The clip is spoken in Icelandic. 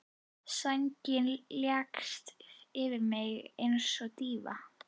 Sængin leggst yfir mig einsog dýfa.